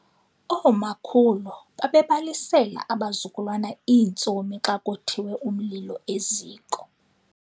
Oomakhulu babebalisela abazukulwana iintsomi xa kothiwe umlilo eziko.